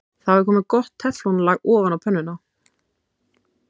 Þá er komið gott teflon-lag ofan á pönnuna.